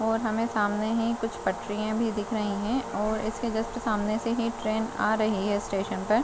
और हमें सामने ही कुछ पटरियाँ भी दिख रहीं हैं और इसके जस्ट सामने से ही ट्रेन आ रही है स्टेशन पर --